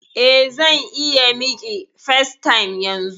Eh, zan iya miƙi facetime yanzun.